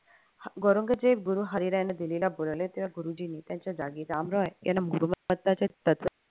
औरंगजेब गुरु हरीराय यांनी दिलेला गुरुजींनी त्यांच्या जागी राम रॉय यांना गुरुमात्ताचे तत्व